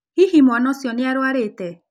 Hihi mwana ũcio nĩ arũarĩte?